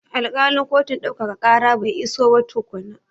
Alkalin kotun ɗaukaka ƙara bai iso ba tukunna.